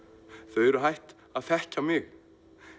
þau eru hætt að þekkja mig